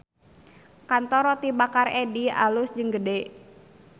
Kantor Roti Bakar Eddy alus jeung gede